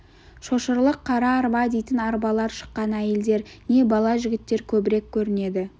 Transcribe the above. шошырлық қара арба дейтін арбалар шыққан әйелдер не бала жігіттер көбірек көрінеді